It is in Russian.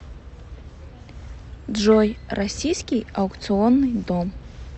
джой российский аукционный дом